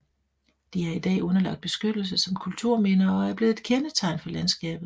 De er i dag underlagt beskyttelse som kulturminder og er blevet et kendetegn for landskabet